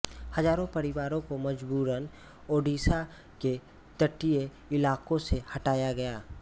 हजारों परिवारों को मजबूरन ओड़िशा के तटीय इलाकों से हटाया गया